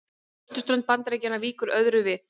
Á austurströnd Bandaríkjanna víkur öðru við.